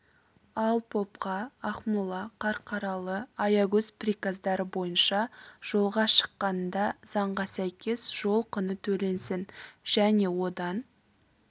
ал попқа ақмола қарқаралы аягөз приказдары бойынша жолға шыққанында заңға сәйкес жол құны төленсін және одан